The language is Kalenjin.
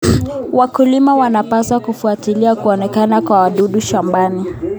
Wakulima wanapaswa kufuatilia kuonekana kwa wadudu shambani.